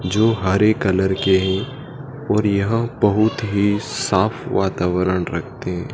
जो हरे कलर के हैं और यह बहोत ही साफ वातावरण रखते--